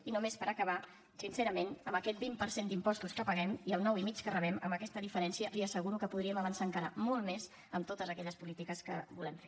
i només per acabar sincerament amb aquest vint per cent d’impostos que paguem i el nou i mig que rebem amb aquesta diferència li asseguro que podríem avançar encara molt més en totes aquelles polítiques que volem fer